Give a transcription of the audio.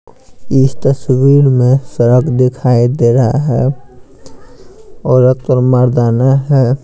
इस तस्वीर में सड़क दिखाई दे रहा है औरत और मर्दाना है।